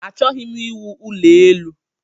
Achọghị m iwu ụlọ elu